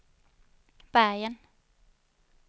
Bergen